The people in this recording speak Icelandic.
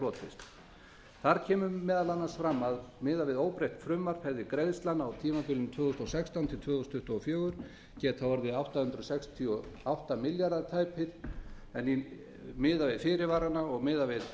hlotist þar kemur meðal annars fram að miðað við óbreytt frumvarp hefði greiðslan á tímabilinu tvö þúsund og sextán til tvö þúsund tuttugu og fjögur getað orðið tæpir átta hundruð sextíu og átta milljarðar en miðað við fyrirvarana og miðað